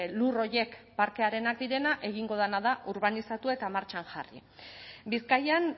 lur horiek parkearenak direnak egingo dena da urbanizatu eta martxan jarri bizkaian